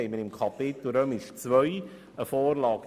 Wir haben in Kapitel II. eine entsprechende Vorlage.